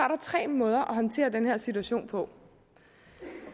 tre måder at håndtere den her situation på